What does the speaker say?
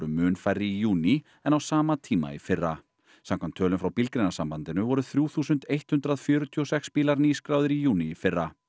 mun færri í júní en á sama tíma í fyrra samkvæmt tölum frá Bílgreinasambandinu voru þrjú þúsund hundrað fjörutíu og sex bílar nýskráðir í júní í fyrra